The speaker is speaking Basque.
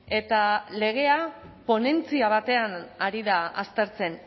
eta legea ponentzia batean ari da aztertzen